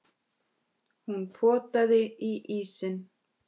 Hún potaði í ísinn.